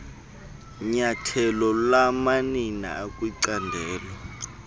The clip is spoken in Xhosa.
nyathelo lamanina akwicandelo